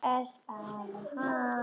Espa hann.